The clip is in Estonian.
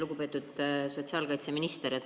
Lugupeetud sotsiaalkaitseminister!